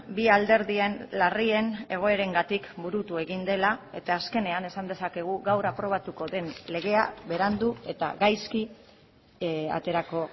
bi alderdien larrien egoerengatik burutu egin dela eta azkenean esan dezakegu gaur aprobatuko den legea berandu eta gaizki aterako